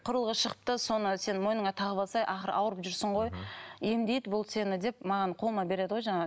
құрылғы шықты соны сен мойныңа тағып алсайшы ақыры ауырып жүрсің ғой емдейді бұл сені деп маған қолыма береді ғой